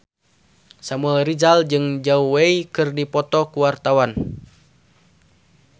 Samuel Rizal jeung Zhao Wei keur dipoto ku wartawan